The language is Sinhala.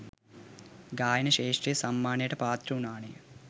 ගායන ක්ෂේත්‍රයෙන් සම්මානයටත් පාත්‍ර වුණානේ.